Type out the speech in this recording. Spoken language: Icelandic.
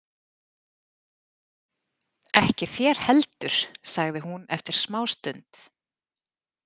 Ekki þér heldur, sagði hún eftir smástund.